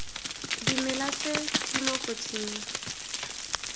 dimela tse di mo kotsing